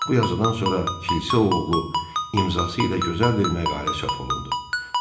Bu yazıdan sonra kilsə oğlu imzası ilə gözəl bir məqalə çap olundu.